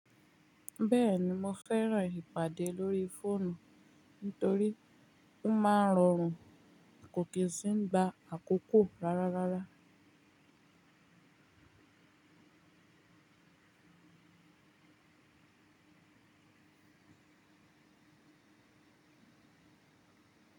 Bẹ́ẹ̀ni, mo fẹ́ràn ìpàdé lórí fóònù nítorí ó máa ń rọrùn kò kí ń ṣì gba àkókò rárá rárá.